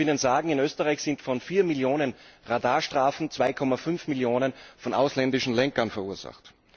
Ich darf Ihnen sagen In Österreich werden von 4 Millionen Radarstrafen 2,5 Millionen von ausländischen Lenkern verursacht.